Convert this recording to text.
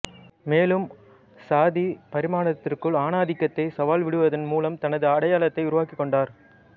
மேலும் சாதி பரிமாணத்திற்குள் ஆணாதிக்கத்தை சவால் விடுவதன் மூலம் தனது அடையாளத்தை உருவாக்கிக் கொண்டார்